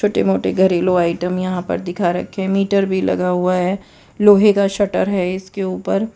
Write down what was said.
मोटे मोटे घरेलू आइटम यहां पर दिखा रखे मीटर भी लगा हुआ है लोहे का शटर है इसके ऊपर।